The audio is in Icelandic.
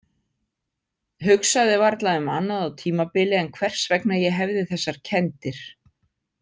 Hugsaði varla um annað á tímabili en hvers vegna ég hefði þessar kenndir.